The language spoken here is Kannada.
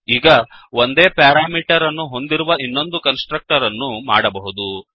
ಈಗ ಒಂದೇ ಪ್ಯಾರಾಮೀಟರ್ ಅನ್ನು ಹೊಂದಿರುವ ಇನ್ನೊಂದು ಕನ್ಸ್ ಟ್ರಕ್ಟರ್ ಅನ್ನು ಮಾಡಬಹುದು